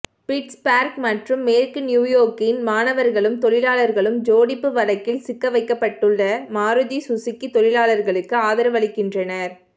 Pittsburgh மற்றும் மேற்கு New York இன் மாணவர்களும் தொழிலாளர்களும் ஜோடிப்பு வழக்கில் சிக்கவைக்கப்பட்டுள்ள மாருதி சுசூகி தொழிலாளர்களுக்கு ஆதரவளிக்கின்றனர்